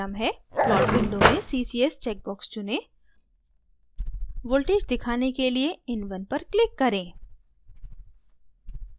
plot window में ccs check box चुनें voltage दिखाने के लिए in1 पर click करें